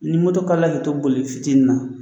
Ni kalila k'i to boli fitinin na